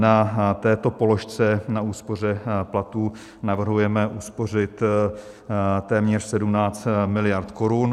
Na této položce, na úspoře platů, navrhujeme uspořit téměř 17 mld. korun.